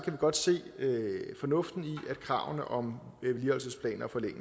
vi godt se det fornuftige i kravene om